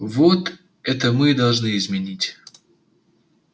вот это мы и должны изменить